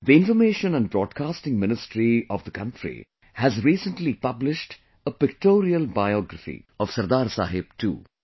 The Information and Broadcasting Ministry of the country has recently published a pictorial biography of Sardar Saheb too